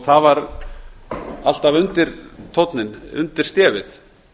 það var alltaf undirtónninn undir stefið